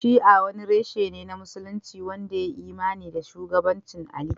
Shi'a wani reshe ne na Musulunci wanda ya yi imani da shugabancin Ali